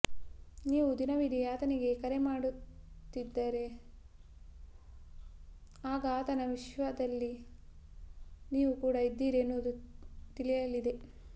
ನೀವು ದಿನವಿಡಿ ಆತನಿಗೆ ಕರೆ ಮಾಡುತ್ತಲಿದ್ದರೆ ಆಗ ಆತನ ವಿಶ್ವದಲ್ಲಿ ನೀವು ಕೂಡ ಇದ್ದೀರಿ ಎನ್ನುವುದು ತಿಳಿಯಲಿದೆ